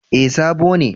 Eh sabo ne